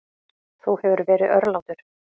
Þú hefur verið örlátur.